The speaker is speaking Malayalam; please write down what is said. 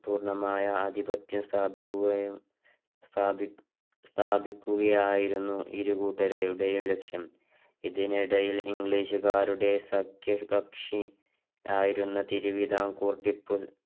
പൂർണമായ ആധിപത്യം സ്ഥാപിക്കുക സ്ഥാപിക്കുകയായിരുന്നു ഇരു കൂട്ടരുടെയും ലക്ഷ്യം ഇതിനിടയില് english കാരുടെ സഖ്യ കക്ഷി ആയിരുന്ന തിരുവിതാംകൂർ ടിപ്പു